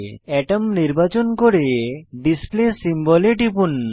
আতম নির্বাচন করে display symbol এ টিপুন